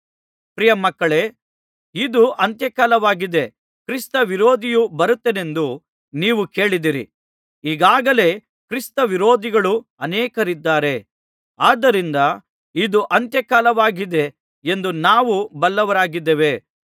ಪ್ರಿಯ ಮಕ್ಕಳೇ ಇದು ಅಂತ್ಯ ಕಾಲವಾಗಿದೆ ಕ್ರಿಸ್ತವಿರೋಧಿಯು ಬರುತ್ತಾನೆಂದು ನೀವು ಕೇಳಿದ್ದೀರಿ ಈಗಾಗಲೇ ಕ್ರಿಸ್ತವಿರೋಧಿಗಳು ಅನೇಕರಿದ್ದಾರೆ ಆದ್ದರಿಂದ ಇದು ಅಂತ್ಯ ಕಾಲವಾಗಿದೆ ಎಂದು ನಾವು ಬಲ್ಲವರಾಗಿದ್ದೇವೆ